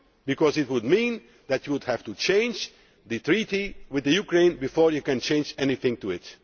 because it would mean that you would have to change the treaty with Ukraine before you can change anything in it.